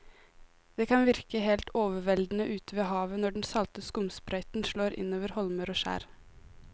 Det kan virke helt overveldende ute ved havet når den salte skumsprøyten slår innover holmer og skjær.